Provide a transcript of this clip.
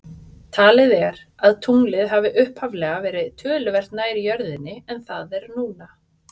Talið er að tunglið hafi upphaflega verið talsvert nær jörðinni en það er núna.